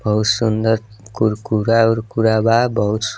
बहुत सुन्दर कुरकुरा-उराक बा बहुत सु --